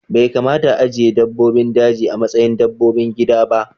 Bai kamata a ajiye dabbobin daji a matsayin dabbobin gida ba